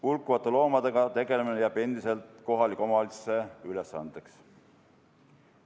Hulkuvate loomadega tegelemine jääb endiselt kohaliku omavalitsuse ülesandeks.